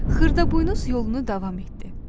Xırdaboynuz yolunu davam etdi.